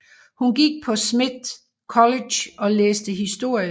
Hun gik på Smith College og læste historie